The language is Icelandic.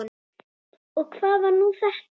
Og hvað var nú þetta!